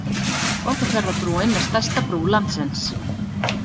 Borgarfjarðarbrúin er stærsta brú landsins.